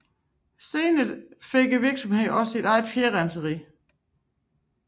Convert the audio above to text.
Senere fik virksomheden også eget fjerrenseri